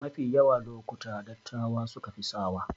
Mafi yawa lokuta dattawa sukafi sawa